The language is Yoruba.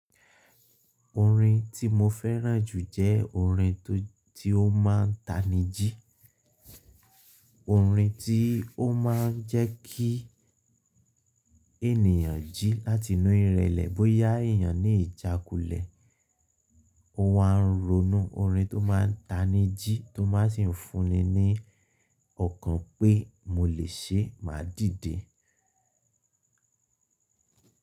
Orin tí mo fẹ́ràn jù jẹ́ orin tó tí ó máa ń tamijí, orin tí ó máa ń jẹ́ kí ènìyàn jí láti inú ìrẹ̀lẹ̀ bóyá èyàn ní ìjákulẹ̀ ó wáa ń ronú. Orin tó ma n tanijí tó má sì ń fúnni ní ọkàn pé mo lè ṣe máa dìde.